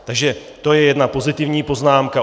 Takže to je jedna pozitivní poznámka.